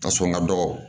Ka sɔn n ka dɔgɔ